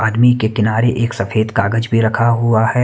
आदमी के किनारे एक सफ़ेद कागज भी रखा हुआ हैं।